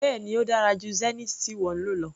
Bẹ́ẹ̀ni ó dára jù Zenith tí ìwọ ń lò lọ.